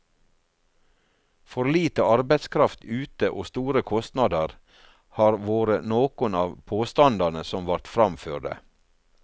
For lite arbeidskraft ute og store kostnader har vore nokon av påstandane som vart framførde.